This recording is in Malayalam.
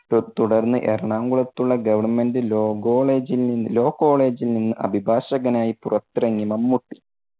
തുട്~തുടർന്ന് എറണാകുളത്തുള്ള Government law law കോളേജിൽ നിന്ന് അഭിഭാഷകനായി പുറത്തിറങ്ങി മമ്മൂട്ടി.